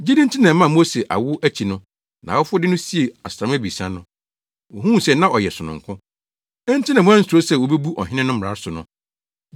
Gyidi nti na ɛmaa Mose awo akyi no, nʼawofo de no siee asram abiɛsa no. Wohuu sɛ na ɔyɛ sononko, enti na wɔansuro sɛ wobebu ɔhene no mmara so no.